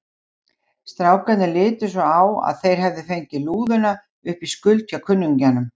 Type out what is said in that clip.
Strákarnir litu svo á að þeir hefðu fengið lúðuna upp í skuld hjá kunningjanum.